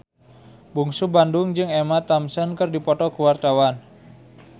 Bungsu Bandung jeung Emma Thompson keur dipoto ku wartawan